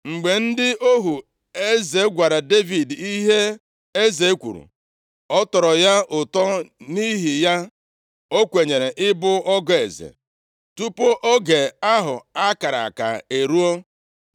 Mgbe ndị ohu eze gwara Devid ihe eze kwuru, ọ tọrọ ya ụtọ, nʼihi ya, o kwenyere ịbụ ọgọ eze. Tupu oge ahụ a kara aka eruo,